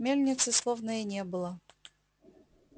мельницы словно и не было